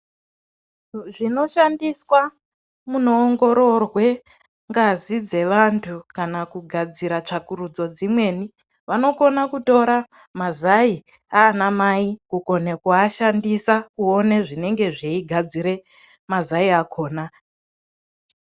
Zvinoshandiswa munoongororwa ngazi dzevantu kana kugadzira tsvagurudzo dzimweni. Vanokona kutora mazai aana Mai kukone kuashandisa kuona zvinenge zveigadzira mazai akhona.